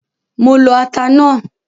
Mo lo ata náà.